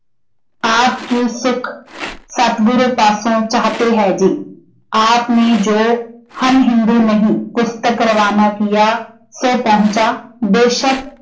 ਆਪ ਕੀ ਸੁੱਖ ਸਤਿਗੁਰ ਪਾਸੋਂ ਚਾਹਤੇ ਹੈ ਜੀ। ਆਪ ਨੇ ਜੋ ਹਮ ਹਿੰਦੂ ਨਹੀਂ ਪੁਸਤਕ ਰਵਾਨਾ ਕੀਆ ਸੋ ਪਹੁੰਚਾ। ਬੇਸ਼ੱਕ